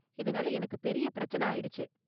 இதனால எனக்கு பெரிய பிரச்சனை ஆயிடுச்சு.